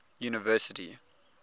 university